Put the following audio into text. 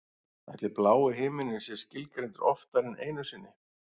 Ætli blái himininn sé skilgreindur oftar en einu sinni?